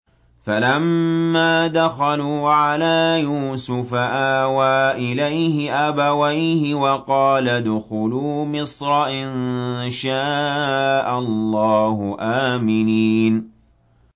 فَلَمَّا دَخَلُوا عَلَىٰ يُوسُفَ آوَىٰ إِلَيْهِ أَبَوَيْهِ وَقَالَ ادْخُلُوا مِصْرَ إِن شَاءَ اللَّهُ آمِنِينَ